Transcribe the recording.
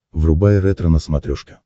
врубай ретро на смотрешке